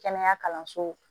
Kɛnɛya kalanso